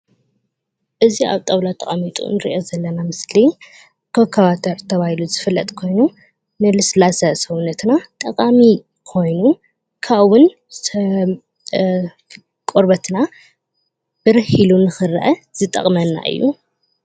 እዚ ኣብ ጣውላ ተቐሚጡ ንርኦ ዝለና ምስሊ ኮካባተር ተበሂሉ ዝፍለጥ ኮይኑ ለስላሳ ስውነትና ጠቃሚ ኮይኑ ከብኡ እውን ቆርቤትና ብርህ ኢሉ ንክርኤ ዝጠቅመና እዩ።